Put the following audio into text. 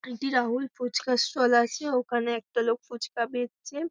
এটি রাহুল ফুচকা ষ্টল আছে ওখানে একটা লোক ফুচকা বেচছে।